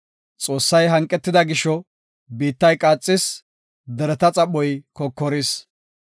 Xoossay hanqetida gisho, biittay qaaxis; dereta xaphoy kokoris.